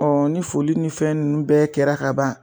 ni foli ni fɛn nunnu bɛ kɛra kaban